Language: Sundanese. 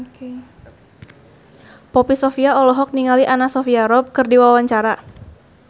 Poppy Sovia olohok ningali Anna Sophia Robb keur diwawancara